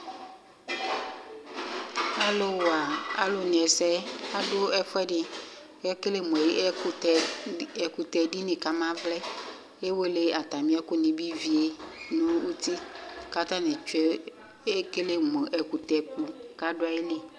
alu wa alu ɛsɛ adu ɛfuɛdi ku ekele mu ʋkutɛ dinĩ ka ma vlɛ ewele atamia ɛku ni bi vie nu uti ka- ta tchue ekele mu ekutɛ ku ku ado aɣili